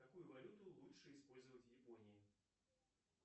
какую валюту лучше использовать в японии